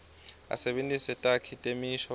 asebentise takhi temisho